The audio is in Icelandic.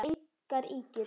Það eru engar ýkjur.